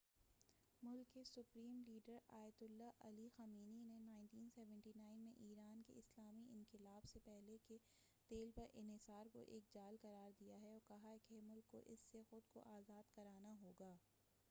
ملک کے supreme leader Ayatollah Ali Khamenei نے 1979 میں ایران کے اسلامی انقلاب سے پہلے کے تیل پر انحصار کو ایک جال قرار دیا ہے اور کہا کہ ملک کو اس سے خود کو آزاد کرانا ہوگا